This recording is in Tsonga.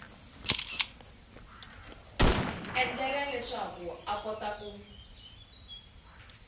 endlela leswaku a kota ku